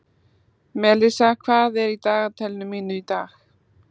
Melissa, hvað er í dagatalinu mínu í dag?